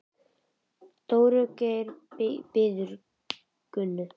Dóri Geir bíður Gunnu.